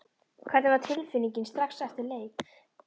Hvernig var tilfinningin strax eftir leik?